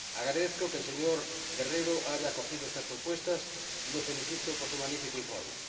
Agradezco que el señor Guerrero haya acogido estas propuestas y le felicito por su magnífico informe.